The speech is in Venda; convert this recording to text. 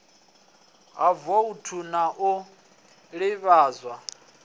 ha voutu na u ḓivhadzwa